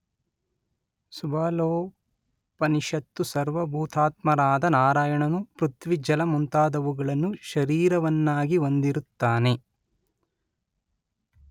ಸುಬಾಲೋಪನಿಷತ್ತು ಸರ್ವಭೂತಾತ್ಮನಾದ ನಾರಾಯಣನು ಪೃಥ್ವಿ ಜಲ ಮುಂತಾದುವುಗಳನ್ನು ಶರೀರವನ್ನಾಗಿ ಹೊಂದಿರುತ್ತಾನೆ